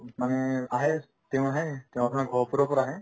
মানে আহে তেওঁ আহে তেওঁ আপোনাৰ গহপুৰৰ পৰা আহে